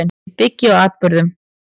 Ég byggi á atburðum.